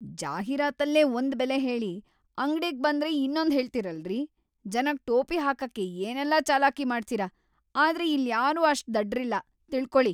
ಜಾಹೀರಾತಲ್ಲೇ ಒಂದ್‌ ಬೆಲೆ ಹೇಳಿ, ಅಂಗ್ಡಿಗ್‌ ಬಂದ್ರೆ ಇನ್ನೊಂದ್‌ ಹೇಳ್ತೀರಲ್ರೀ! ಜನಕ್‌ ಟೋಪಿ ಹಾಕಕ್ಕೆ ಏನೆಲ್ಲ ಚಾಲಾಕಿ ಮಾಡ್ತೀರ, ಆದ್ರೆ ಇಲ್ಯಾರೂ ಅಷ್ಟ್‌ ದಡ್ರಿಲ್ಲ, ತಿಳ್ಕೊಳಿ.